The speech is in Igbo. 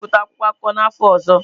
M ga-ebipụta akwụkwọ akụkọ n'afọ ọzọ.